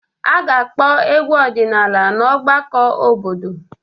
A ga-akpọ egwu ọdịnala na ọgbakọ obodo.